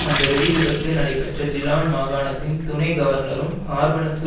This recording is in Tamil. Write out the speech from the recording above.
அந்த வெடிவிபத்து நடைபெற்ற ஜிலான் மாகாணத்தின் துணை கவர்னரும் ஹார்பனுக்கு